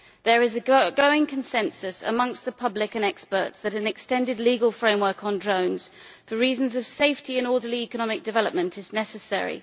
There is a growing consensus among the public and experts that an extended legal framework on drones, for reasons of safety and orderly economic development, is necessary.